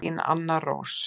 Þín Anna Rós.